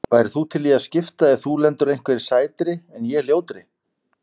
Værir þú til í að skipta ef þú lendir á einhverri sætri en ég ljótri?